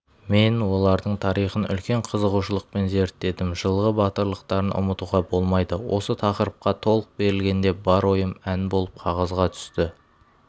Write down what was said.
мен олардың тарихын үлкен қызығушылықпен зеттедім жылғы батырлықтарын ұмытуға болмайды осы тақырыпқа толық берілгенде бар ойым ән болып қағазға түсті